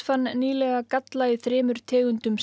fann nýlega galla í þremur tegundum